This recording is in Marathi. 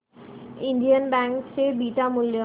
इंडियन बँक चे बीटा मूल्य